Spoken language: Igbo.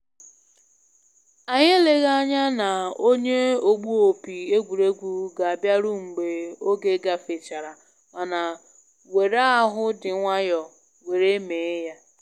Anyị eleghị anya na onye ogbu opi egwuregwu ga abịaru mgbe oge gafechara mana were ahụ dị nwayọ were mee ya